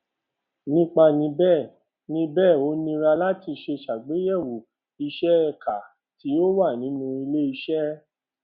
nípa ni bẹẹ ni bẹẹ ó nira láti ṣe ṣàgbéyẹwò ìṣe ẹka tí ó wà nínú ilé iṣẹ